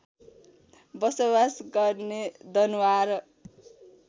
बसोवास गर्ने दनुवार